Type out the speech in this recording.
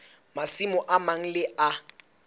masimo a mang le a